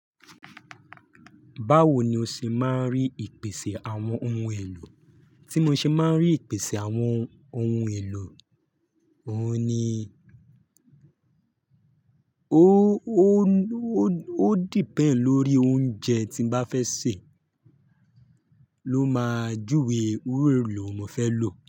Báwo ni o ṣe máa ń rí ìpèsè àwọn ohun èlò? Tí mo ṣe máa ń rí ìpèsè àwọn ohun èlò, òun ni ó depend lórí oúnjẹ tí mo bá fẹ́ sè ló máa júwe irú èlò wo n mo fẹ́ lò.